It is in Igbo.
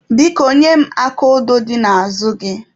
Biko, nye m aka odo dị n'azụ gị.